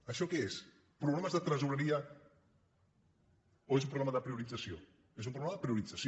això què són problemes de tresoreria o és un problema de priorització és un problema de priorització